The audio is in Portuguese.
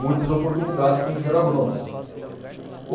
muitas oportunidades para um engenheiro agrônomo.